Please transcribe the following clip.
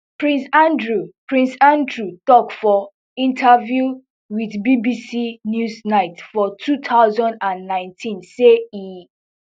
prince andrew prince andrew tok for interview with bbc newsnight for two thousand and nineteen say e